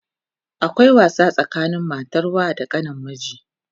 akwai wasa tsakanin matan wa da kanin miji